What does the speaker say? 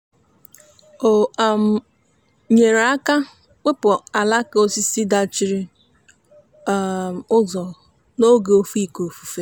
o um nyere aka wepụ alaka osisi dachiri um ụzọ n'oge oke ifufe ahụ.